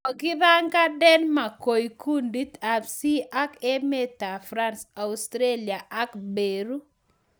Kokigapangan Denmark koik kundit ab C ak emetab France, Australia ak Peru.